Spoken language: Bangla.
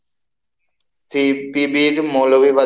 CTB র